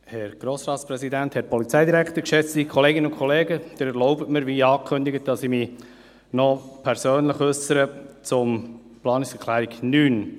Sie erlauben mir, wie angekündigt, dass ich mich noch persönlich zur Planungserklärung 9 äussere.